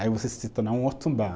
Aí você se torna um Otumbá.